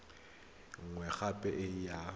e nngwe gape e ya